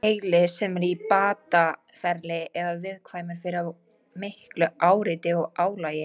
Heili sem er í bataferli er viðkvæmur fyrir of miklu áreiti og álagi.